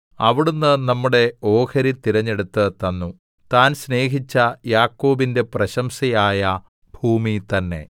അവിടുന്ന് നമ്മുടെ ഓഹരി തിരഞ്ഞെടുത്ത് തന്നു താൻ സ്നേഹിച്ച യാക്കോബിന്റെ പ്രശംസയായ ഭൂമി തന്നെ